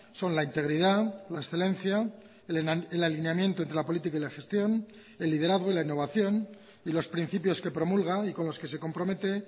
son la integridad la excelencia el alineamiento entre la política y la gestión el liderazgo y la innovación y los principios que promulga y con los que se compromete